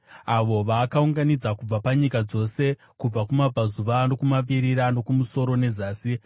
avo vaakaunganidza kubva panyika dzose, kubva kumabvazuva nokumavirira, nokumusoro nezasi.